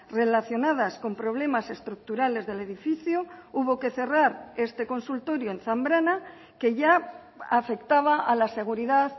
relacionadas con problemas estructurales del edificio hubo que cerrar este consultorio en zambrana que ya afectaba a la seguridad